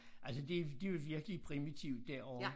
Altså det det jo virkelig primitivt derovre